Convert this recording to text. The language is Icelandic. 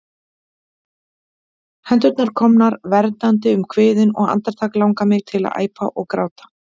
Hendurnar komnar verndandi um kviðinn, og andartak langar mig til að æpa, gráta.